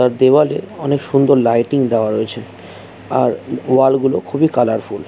দেবালে অনেক সুন্দর লাইটিং দেওয়া রয়েছে আর ওয়াল গুলো খুবই কালারফুল ।